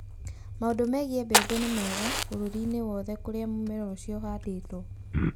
Mau͂ndu͂ megii͂ mbebe ni͂ mega bu͂ru͂ri-ini͂ wothe ku͂ri͂a mu͂mera u͂cio u͂handi͂two.